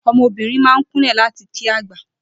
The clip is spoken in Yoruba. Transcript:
O̩mo̩bìnrin máa ń kúnlè̩ láti kí àgbà